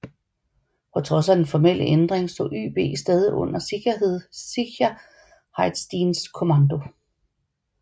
På trods af den formelle ændring stod YB stadig under Sicherheitsdiensts kommando